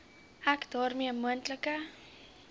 ek daarmee moontlike